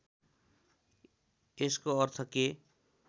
यसको अर्थ के